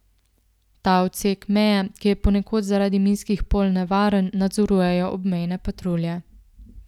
Ta odsek meje, ki je ponekod zaradi minskih polj nevaren, nadzorujejo obmejne patrulje.